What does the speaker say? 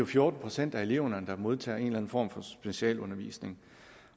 fjorten procent af eleverne der modtager en eller anden form for specialundervisning